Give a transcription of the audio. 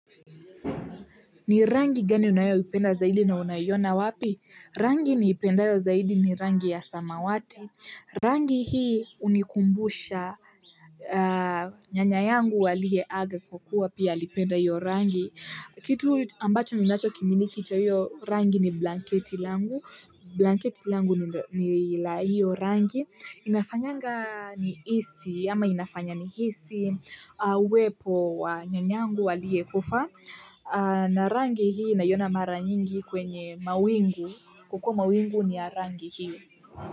Ni rangi gani unayoipenda zaidi na unaiona wapi? Rangi niipendayo zaidi ni rangi ya samawati. Rangi hii hunikumbusha nyanya yangu aliyeaga kwa kuwa pia alipenda hiyo rangi. Kitu ambacho ninachokimiliki cha hiyo rangi ni blanketi langu. Blanketi langu ni la hiyo rangi. Inafanyanga nihisi, ama inafanya nihisi. Wepo wa nyanyangu aliyekufa. Na rangi hii naiona mara nyingi kwenye mawingu kwa kuwa mawingu ni rangi hii.